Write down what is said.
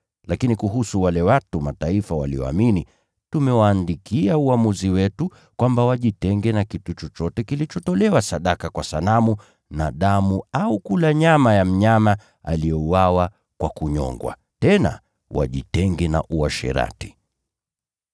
Lakini kuhusu wale watu wa Mataifa walioamini, tumewaandikia uamuzi wetu: kwamba wajitenge na vyakula vilivyotolewa sadaka kwa sanamu, na damu, au kula nyama ya mnyama aliyenyongwa, na wajiepushe na uasherati.”